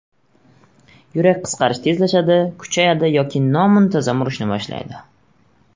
Yurak qisqarish tezlashadi, kuchayadi yoki nomuntazam urishni boshlaydi.